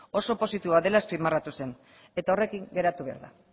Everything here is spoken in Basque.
oso positiboa dela azpimarratu zen eta horrekin geratu behar da